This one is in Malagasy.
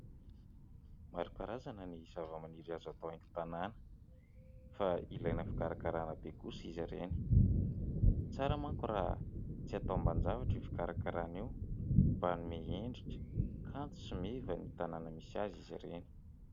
Maro karazana ny zava-maniry azo atao haingo-tanàna fa ilaina fikarakarana be kosa izy reny, tsara manko raha tsy hatao ambanin-javatra io fikarakarana io mba hanome hendrika kanto sy meva ny tanàna misy azy izy reny.